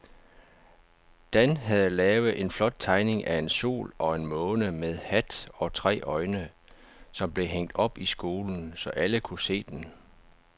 Dan havde lavet en flot tegning af en sol og en måne med hat og tre øjne, som blev hængt op i skolen, så alle kunne se den.